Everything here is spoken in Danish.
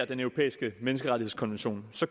den europæiske menneskerettighedskonvention